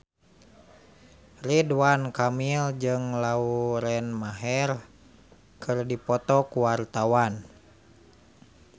Ridwan Kamil jeung Lauren Maher keur dipoto ku wartawan